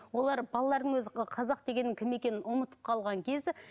олар балалардың өзі ы қазақ дегеннің кім екенін ұмытып қалған кезі